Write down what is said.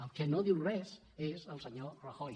el que no en diu res és el senyor ra·joy